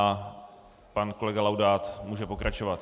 A pan kolega Laudát může pokračovat.